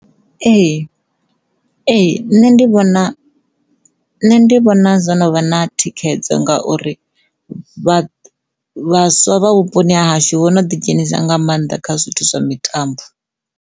Ee, ee, nṋe ndi vhona nṋe ndi vhona zwo no vha na thikhedzo ngauri vhaswa vha vhuponi ha hashu vho no ḓi dzhenisa nga maanḓa kha zwithu zwa mitambo.